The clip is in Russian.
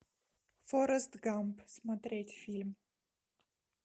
форрест гамп смотреть фильм